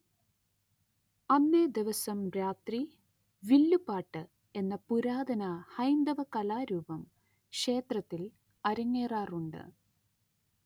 അന്നേദിവസം രാത്രി വില്ലുപാട്ട് എന്ന പുരാതന ഹൈന്ദവകലാരൂപം ക്ഷേത്രത്തിൽ അരങ്ങേറാറുണ്ട്